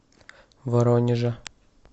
воронежа